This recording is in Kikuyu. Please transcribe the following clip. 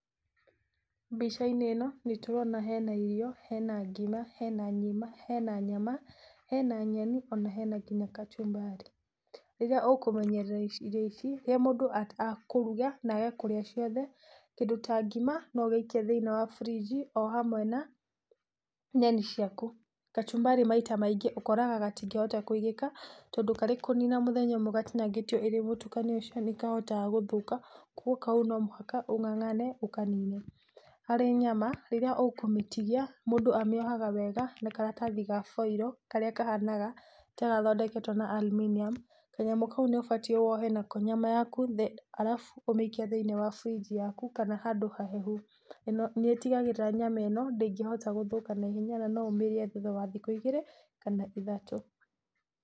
Mbica-inĩ ĩno nĩ tũrona hena irio, hena ngima, hena nyama, hena nyeni ona hena kachumbari, rĩrĩa ũkũmenyera irio ici, rĩrĩa mũndũ akũruga na age kũrĩa ciothe kĩndũ ta ngima no wĩkie thĩinĩ wa fridge hamwe na nyeni ciaku, kachumbari maita maingĩ ũkoraga gatingĩhota kũigĩka, tondũ karĩ kũnina mũthenya ũmwe gatinangĩtio karĩ mũtukanio ũcio nĩ kahotaga gũthũka kwoguo kau no mũhaka ũng'ang'ane ũkanine, harĩ nyama rĩrĩa ũkũmĩtigia mũndũ amĩohaga wega na karatathi ga foil marĩa kahanaga ta gathondeketwo na alminium, kanyamũ kau nĩ ũbatie wohe nako nyama yaku alafu ũmĩikie thĩinĩ wa fridge yaku kana handũ hahehu na nĩ ĩtigagĩrĩra nyama ĩno ndĩngĩhota gũthũka na ihenya na no ũmĩrĩe thutha wa thimo igĩrĩ kana ithatũ.